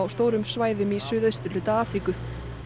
stórum svæðum í suðausturhluta Afríku